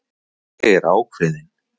Ég er ákveðin.